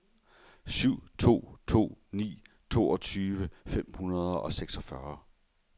syv to to ni toogtyve fem hundrede og seksogfyrre